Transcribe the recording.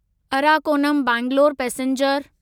Arakkonam Bangalore passenger